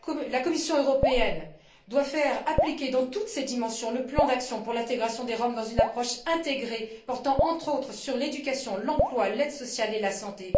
La Commission européenne doit faire appliquer dans toutes ses dimensions le plan d'intégration des Roms dans une approche intégrée portant entre autres sur l'éducation, l'emploi, l'aide sociale et la santé.